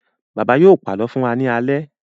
Bàbá yóò pàlọ́ fún wa ní alẹ́.